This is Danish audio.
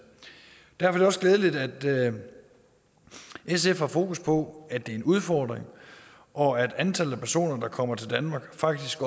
derfor er det også glædeligt at sf har fokus på at det er en udfordring og at antallet af personer der kommer til danmark faktisk